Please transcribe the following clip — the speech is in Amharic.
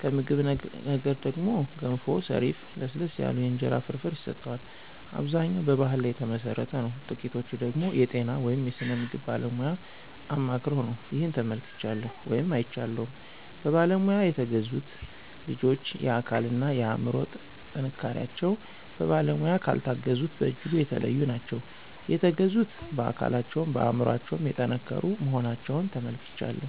ከምግብ ነክ ነገር ደግሞ ገንፎ፣ ሰሪፍ፣ ለስለስ ያሉ የእንጀራ ፍርፍር ይሰጠዋል። አብዛኛው በባሕል ላይ ተመሠረተ ነው ጥቂቶቹ ደገሞ የጤና ወይም የስነ ምግብ ባለሙያ አማክረው ነው። ይህን ተመልክቻለሁ ወይም አይቻለሁም። በባለሙያ የተገዙት ልጆች የአካል እና የአምሮ ጥንካሪቸው በባለሙያ ካልታገዙት በጅጉ የተለዩ ናቸው። የተገዙት በአካለቸውም በአምሮቸው የጠንከሩ መሆናቸውን ተመልክቻለሁ።